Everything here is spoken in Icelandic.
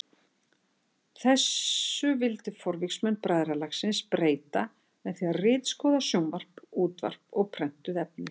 Þessu vildi forvígismenn bræðralagsins breyta með því að ritskoða sjónvarp, útvarp og prentuð efni.